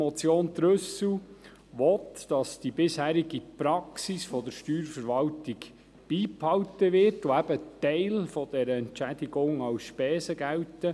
Die Motion Trüssel will, dass die bisherige Praxis der Steuerverwaltung beibehalten wird und ein Teil dieser Entschädigung als Spesen gilt.